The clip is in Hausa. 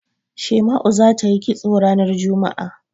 Shema'u za ta yi kisto ranar juma'a.